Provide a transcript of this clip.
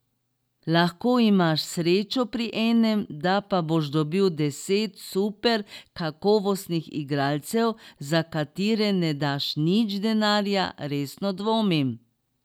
Lahko imaš srečo pri enem, da pa boš dobil deset super kakovostnih igralcev, za katere ne daš nič denarja, resno dvomim.